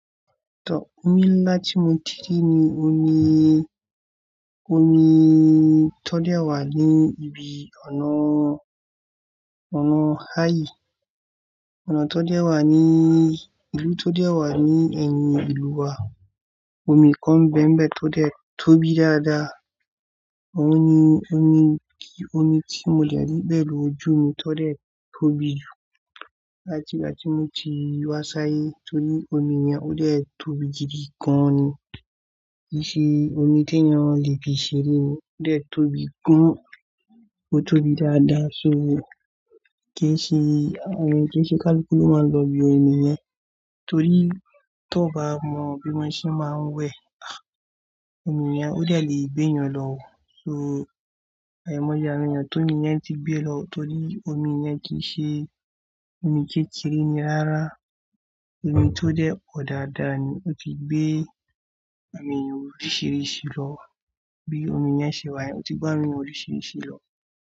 Tọ, omi ńlá tí mo ti rí ni òní, òní tó dé wà ní ibi ọ̀nà, ọ̀nà áyi Ọ̀nà tó dé wà ní, ìlú tó dé wà ní ẹ̀yìn ìlú wa. Omi kan bẹ́mbẹ́ tó dé, tó bí dáadáa. Òní, omi tí mo lè rí bẹ́ẹ̀ lóju mi tó dé tó bí. Láti ìgbà tí mo ti wá sáyé torí omi yen ó dé tóbi jidi gan ni. Kì í ṣe omi tí ẹyan le fi ṣeré o. Ó dé tóbi gan, ó tóbi dáadáa. So kí ṣe, eh kí ṣe kaluku ló máa ń lọ bí omi yẹn? Torí tó bá mọ bí wọn ṣe máa ń wẹ̀, ah! Omi yen ó dè le gbé èyàn lọ oò. So ài moye awon eyan ti omi yen tí gbé lọ torí omi yen kì í ṣe omi kékeré ni rárá. Omi tó dé pọ̀ dáadáa ni ó ti gbé àwọn ènìyàn oríṣìíríṣìí lọ. Bí omi yen ṣe wà, ó ti gbé àwọn èyan oríṣìíríṣìí lọ.